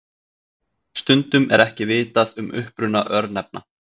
stundum er ekki vitað um uppruna örnefna